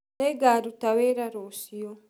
Nĩngarũta wĩra rũcĩũ.